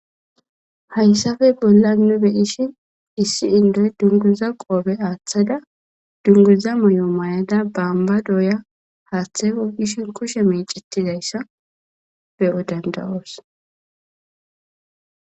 Haaysappe bollan nu beshshin issi indda dunguzza qobbe aththada dunguza maayo maayada bomba dooyada haththe gogoshshe kushshe meccetizayssa beo dandaos.